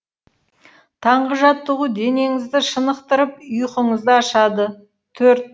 таңғы жаттығу денеңізді шынықтырып ұйқыңызды ашады төрт